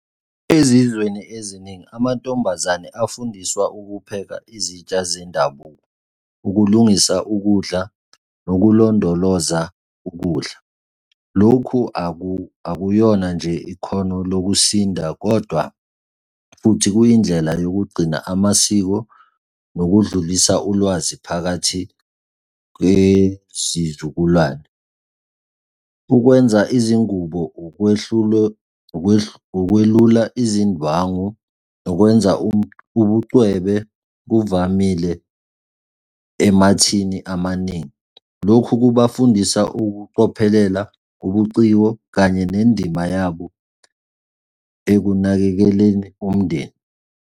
Ezizweni eziningi, amantombazane afundiswa ukupheka izitsha zendabuko, ukulungisa ukudla, nokulondoloza ukudla. Lokhu akuyona nje ikhono nokusinda, kodwa futhi kuyindlela yokugcina amasiko nokudlulisa ulwazi phakathi kwezizukulwane. Ukwenza izingubo, ukwelula izindwangu nokwenza ubucwebe kuvamile emathini amaningi. Lokhu kubafundisa ukucophelela, ubuciko, kanye nendima yabo ekunakekeleni umndeni.